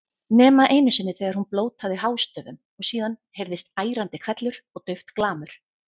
Nema einu sinni þegar hún blótaði hástöfum og síðan heyrðist ærandi hvellur og dauft glamur.